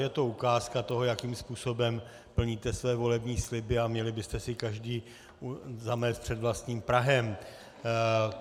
Je to ukázka toho, jakým způsobem plníte své volební sliby, a měli byste si každý zamést před vlastním prahem.